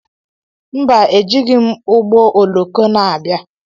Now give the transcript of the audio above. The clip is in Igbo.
Mba, ejighị m ụgbọoloko na-abịa.